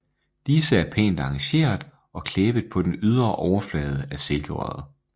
Disse er pænt arrangeret og klæbet på den ydre overflade af silkerøret